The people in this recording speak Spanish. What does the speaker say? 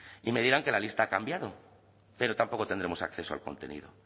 y me dirán que la lista ha cambiado pero tampoco tendremos acceso al contenido